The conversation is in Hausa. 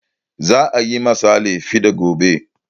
Za a yi ma sale fiɗa gobe